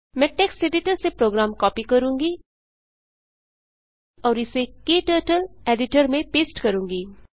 मैं text editor से program copy करूँगी और इसे क्टर्टल एडिटर में पेस्ट करूँगी